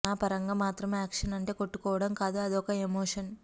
నా పరంగా మాత్రం యాక్షన్ అంటే కొట్టుకోవడం కాదు అదొక ఎమోషన్